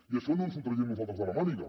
i això no ens ho traiem nosaltres de la màniga